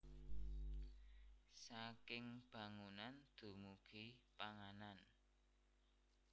Saking bangunan dumugi panganan